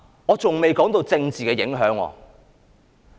我還未談及政治的影響。